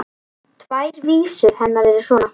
Tvær vísur hennar voru svona: